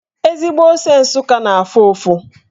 Ezigbo ose Nsụka na-afụ ụfụ.